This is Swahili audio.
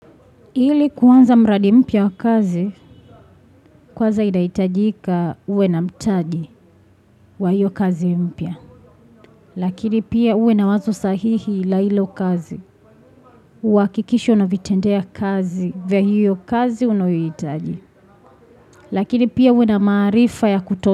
Ili kuanza mradi mpya wa kazi, kwanza inahitajika uwe na mtaji wa hiyo kazi mpya. Lakini pia uwe na wazo sahihi la hilo kazi. Uhakikisho unavitendea kazi vya hiyo kazi unayohitaji. Lakini pia uwe na maarifa ya kuto.